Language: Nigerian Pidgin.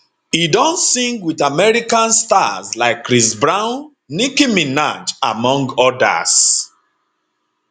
e don sing wit american stars like chris brown nicki minaj among odas